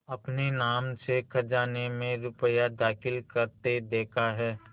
अपने नाम से खजाने में रुपया दाखिल करते देखा है